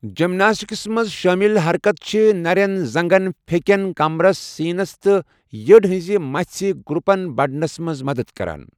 جمناسٹکسَس منٛز شٲمِل حرکتہٕ چھِ نٔرٮ۪ن، زنٛگَن، پھیکٮ۪ن، کمرس، سینَس تہٕ یٔڑ ہنز مَژھہِ گروپن بڑنَس منٛز مدد کران۔